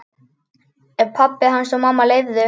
Ef pabbi hans og mamma leyfðu.